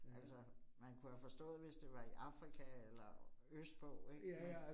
Altså man kunne have forstået, hvis det var i Afrika eller østpå ik men